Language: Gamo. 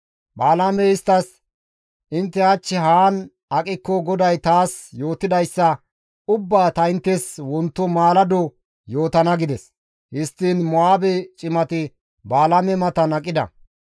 Balaamey isttas, «Intte hach haan aqikko GODAY taas yootidayssa ubbaa ta inttes wonto maalado yootana» gides; histtiin Mo7aabe cimati Balaame matan aqida.